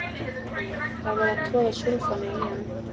Jú, það er verið að troða súlfanu í hann